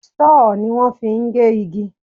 Sọ́họ̀ ni wón fi ń gé igi.